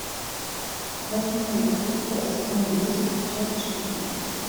восьмое чувство сезон десять часть шестнадцать